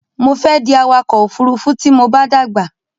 Mo fẹ́ di awakọ̀ òfurufú tí mo bá dàgbà.